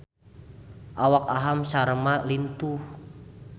Awak Aham Sharma lintuh